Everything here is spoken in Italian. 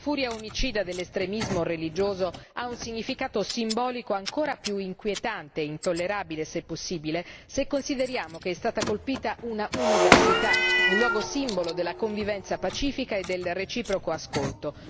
La furia omicida dell'estremismo religioso ha un significato simbolico ancora più inquietante e intollerabile, se possibile, se consideriamo che è stata colpita un'università, un luogo simbolo della convivenza pacifica e del reciproco ascolto.